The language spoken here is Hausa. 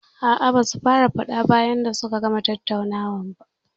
A'a, basu fara faɗa bayan sun gama tattaunawa ba.